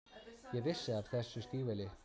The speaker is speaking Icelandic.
Ég á þessi stígvél.